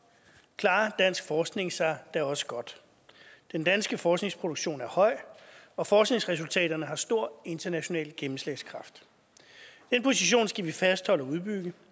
klarer dansk forskning sig da også godt den danske forskningsproduktion er høj og forskningsresultaterne har stor international gennemslagskraft den position skal vi fastholde og udbygge